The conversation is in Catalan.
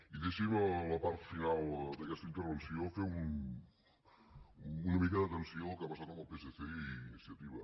i deixin me a la part final d’aquesta intervenció fer una mica d’atenció al que ha passat amb el psc i iniciativa